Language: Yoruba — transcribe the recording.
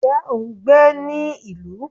nje o n gbé ni ilu?